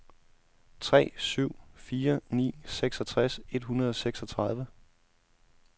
tre syv fire ni seksogtres et hundrede og seksogtredive